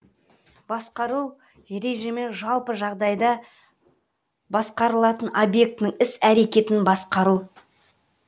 басқару режімі жалпы жағдайда басқарылатын объектінің іс әрекетін басқару